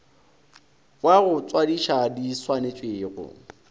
wa go tswadiša di swanetšwego